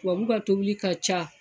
Tababuw ka tobili ka ca